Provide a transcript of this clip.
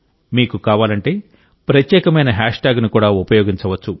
మీకు కావాలంటే ప్రత్యేకమైన హ్యాష్ట్యాగ్ని కూడా ఉపయోగించవచ్చు